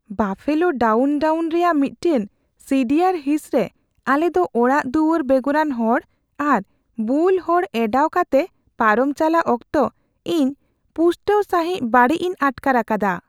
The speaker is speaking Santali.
ᱵᱟᱯᱷᱮᱞᱳ ᱰᱟᱣᱩᱱᱼᱴᱟᱣᱩᱱ ᱨᱮᱭᱟᱜ ᱢᱤᱫᱴᱟᱝ ᱥᱤᱰᱤᱭᱟᱨ ᱦᱤᱸᱥᱨᱮ ᱟᱞᱮᱫᱚ ᱚᱲᱟᱜᱼᱫᱩᱣᱟᱹᱨ ᱵᱮᱜᱚᱨᱟᱱ ᱦᱚᱲ ᱟᱨ ᱵᱩᱞ ᱦᱚᱲ ᱮᱱᱰᱟᱣ ᱠᱟᱛᱮ ᱯᱟᱨᱚᱢ ᱪᱟᱞᱟᱜ ᱚᱠᱛᱚ ᱤᱧ ᱯᱩᱥᱴᱟᱹᱣ ᱥᱟᱸᱦᱤᱪ ᱵᱟᱹᱲᱤᱡ ᱤᱧ ᱟᱴᱠᱟᱨ ᱟᱠᱟᱫᱟ ᱾